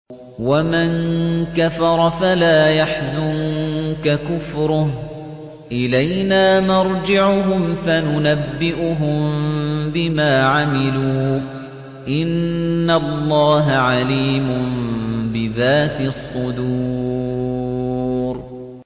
وَمَن كَفَرَ فَلَا يَحْزُنكَ كُفْرُهُ ۚ إِلَيْنَا مَرْجِعُهُمْ فَنُنَبِّئُهُم بِمَا عَمِلُوا ۚ إِنَّ اللَّهَ عَلِيمٌ بِذَاتِ الصُّدُورِ